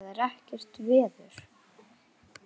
Það er ekkert veður.